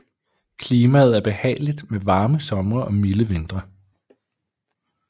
Klimaet er behageligt med varme somre og milde vintre